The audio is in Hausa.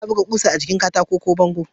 Ana buga ƙusa a jikin katako ko bango.